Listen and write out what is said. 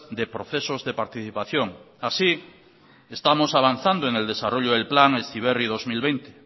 de procesos de participación así estamos avanzando en el desarrollo del plan heziberri dos mil veinte